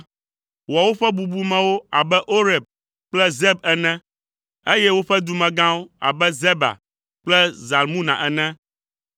Wɔ woƒe bubumewo abe Oreb kple Zeb ene, eye woƒe dumegãwo abe Zeba kple Zalmuna ene,